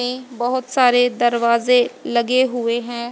बहोत सारे दरवाजें लगे हुए हैं।